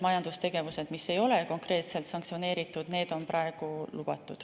Majandustegevus, mis ei ole konkreetselt sanktsioneeritud, on praegu lubatud.